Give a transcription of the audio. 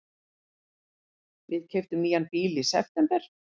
Við keyptum nýjan bíl í september.